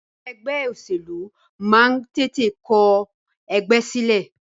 Àwọn ẹgbẹ́ òṣèlú máa ń tètè kọ ẹgbẹ́ sílẹ̀.